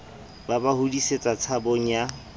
ba ba hodisetsa tshabong ya